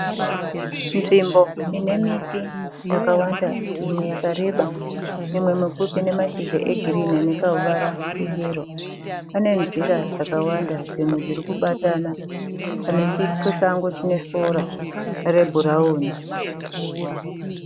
Nzvimbo inemiti yakawanda imwe yakareba imwe mipfupi inemashizha egirinhi anekahuvara keyero panenzira dzakawanda dzimwe dzirikubatana, panechisango chinesora rebhurauni.